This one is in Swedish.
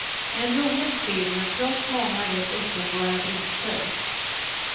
En rolig film, trots många rätt uppenbara brister.